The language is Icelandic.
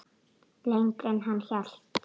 Lengra en hann hélt